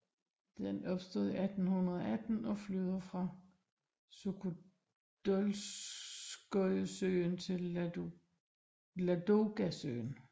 Den opstod i 1818 og flyder fra Sukhodolskojesøen til Ladogasøen